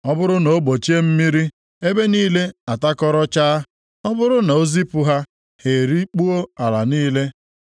Ọ bụrụ na o gbochie mmiri, ebe niile atakọrọchaa. Ọ bụrụ na o zipụ ha, ha erikpuo ala niile.